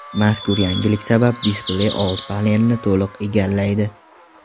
Mazkur yangilik sabab displey old panelni to‘liq egallaydi.